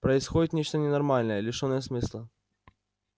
происходит нечто ненормальное лишённое смысла